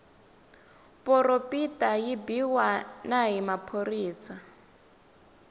poropita yi biwa na hi maphorisa